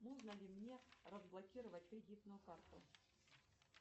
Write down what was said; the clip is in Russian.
можно ли мне разблокировать кредитную карту